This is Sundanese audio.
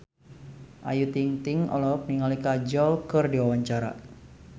Ayu Ting-ting olohok ningali Kajol keur diwawancara